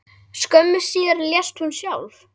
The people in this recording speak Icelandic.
Skömmu síðar lést hún sjálf.